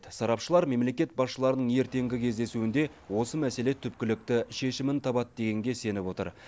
сарапшылар мемлекет басшыларының ертеңгі кездесуінде осы мәселе түпкілікті шешімін табады дегенге сеніп отыр